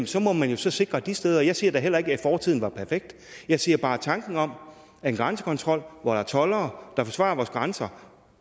så må man jo så sikre de steder jeg siger da heller ikke at fortiden var perfekt jeg siger bare at tanken om en grænsekontrol hvor der er toldere der forsvarer vores grænse